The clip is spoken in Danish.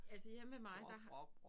Altså hjemme ved mig der har